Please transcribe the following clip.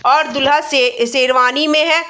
और दूल्हा शे शेरवानी में है।